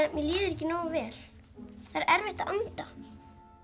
mér líður ekki nógu vel það er erfitt að anda